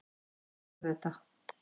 Hvernig gerðirðu þetta?